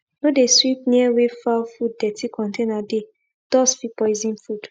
no de sweep near wey fowl food dirty container dey dust fit poison food